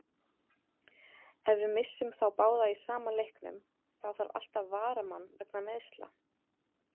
Ef við missum þá báða í sama leiknum, þá þarf alltaf varamann vegna meiðsla.